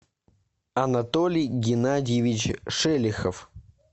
анатолий геннадьевич шелихов